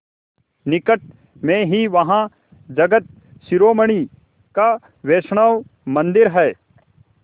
निकट में ही वहाँ जगत शिरोमणि का वैष्णव मंदिर है